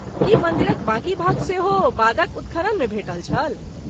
की मन्दिरक बाकी भाग सेहो बादक उत्खननमे भेटल छल?